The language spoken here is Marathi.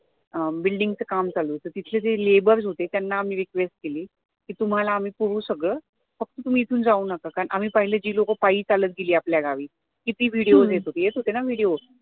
अं building च काम चालू होत तिथे जे labor होते त्यांना मी request केली कि तुम्हाला आम्ही पुरवू सगळं फक्त तुम्ही इथून जाऊ नका आणि जे लोक पिहले चालत गेली आपल्या गावी किती video येत होते, येत होते ना video